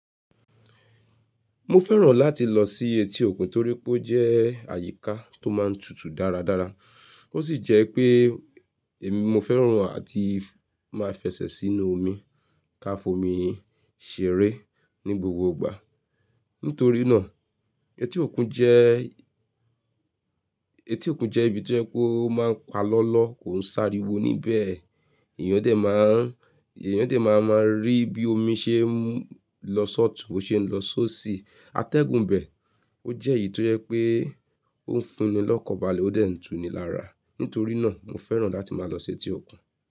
Mo fẹ́ràn láti lọ sí etí òkun torí pé ó jẹ́ àyíká tó máa ń tutù dáradára. Ó sì jẹ́ pé èmi mo fẹ́ràn àti máa fẹsẹ̀ sínú omi, káfi omi ṣeré ní gbogbo ìgbà. Nítorí náà etí òkun jẹ́, etí òkun jẹ́ ibi tó jẹ́ kó máa ń pa lọ́lọ́ kò ń sáré wo níbẹ̀. Èèyàn dẹ máa ń, èèyàn dé máa ń máa rí bí omi ṣe ń lọ s'ọ̀tùn, bó ṣe ń lọ sósì. Atẹ́gùn bẹ̀, ó jẹ́ èyí tó yẹ́ pé ó funni lọ́kọbalẹ̀ ó dẹ n tún ni lára. Nítorí náà mo fẹ́ràn láti máa lọ sí etí òkun.